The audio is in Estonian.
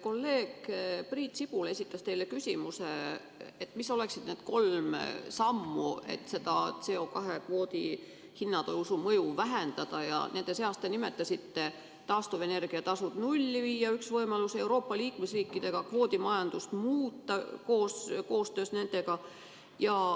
Kolleeg Priit Sibul esitas teile küsimuse, mis oleksid need kolm sammu, et CO2 kvoodi hinna tõusu mõju vähendada, Nende seas te nimetasite, et taastuvenergia tasu nulli viia oleks üks võimalus, kuidas koostöös Euroopa Liidu liikmesriikidega kvoodimajandust muuta.